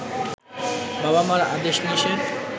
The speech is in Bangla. বাবা মার আদেশ নিষেধ